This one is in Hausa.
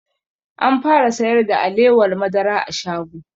An fara sayar da alewar madara a shago